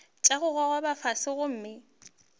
tša go gogoba fase gomme